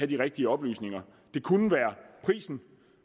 de rigtige oplysninger det kunne være prisen